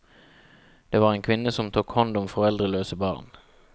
Det var en kvinne som tok hånd om foreldreløse barn.